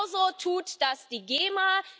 Genau so tut das die GEMA.